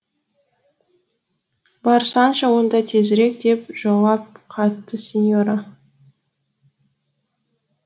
барсаңшы онда тезірек деп жауап қатты синьора